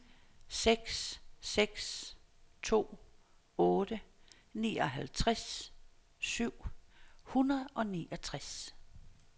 seks seks to otte nioghalvtreds syv hundrede og niogtres